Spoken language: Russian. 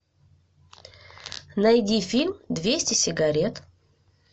найди фильм двести сигарет